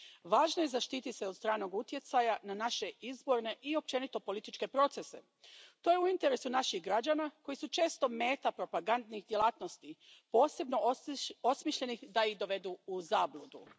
Važno je zaštititi se od stranog utjecaja na naše izborne i općenito političke procese. To je u interesu naših građana koji su često meta propagandnih djelatnosti, posebno osmišljenih da ih dovedu u zabludu.